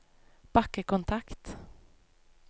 bakkekontakt